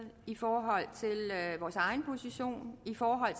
i forhold til vores egen position i forhold